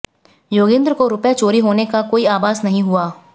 योगेन्द्र को रुपये चोरी होने का कोई आभास नहीं हुआ